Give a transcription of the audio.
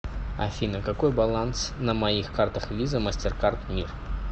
афина какой баланс на моих картах виза мастеркард мир